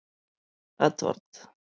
Edvard